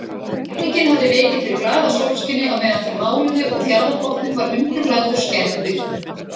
Rigningin hafði vikið fyrir glaðasólskini á meðan þeir máluðu og fjarðarbotninn var undirlagður skærri birtu.